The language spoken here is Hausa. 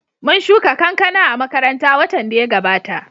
Mun shuka kankana a makaranta watan da ya gabata